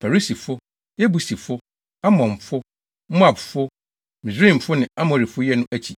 Perisifo, Yebusifo, Amonfo, Moabfo, Misraimfo ne Amorifo yɛ no akyi.